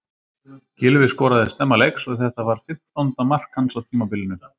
Gylfi skoraði snemma leiks en þetta var fimmtánda mark hans á tímabilinu.